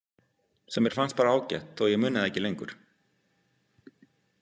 Sem mér fannst bara ágætt þó að ég muni það ekki lengur.